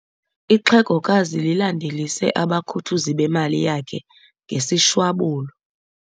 Ixhegokazi lilandelise abakhuthuzi bemali yakhe ngesishwabulo.